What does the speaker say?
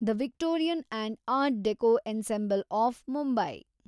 the Victorian and art deco ensemble of Mumbai